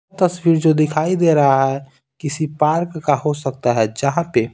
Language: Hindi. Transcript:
तस्वीर जो दिखाई दे रहा है किसी पार्क का हो सकता है जहाँ पे --